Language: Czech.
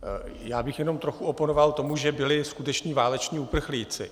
Já bych jen trochu oponoval tomu, že byli skuteční váleční uprchlíci.